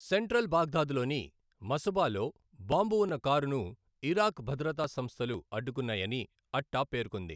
Central బాగ్దాద్లోని మసబాలో బాంబు ఉన్న కారును ఇరాక్ భద్రతా సంస్థలు అడ్డుకున్నాయని అట్టా పేర్కొంది.